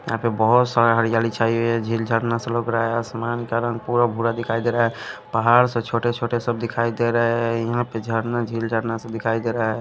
यहां पे बहुत सारा हरियाली छाई हुई है झील झरना से लग रहा है आसमान का रंग पूरा भूरा दिखाई दे रहा है पहाड़ से छोटे-छोटे सब दिखाई दे रहे हैं यहां पे झरना झील झरना सब दिखाई दे रहा है।